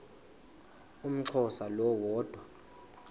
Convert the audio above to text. umxhosa lo woda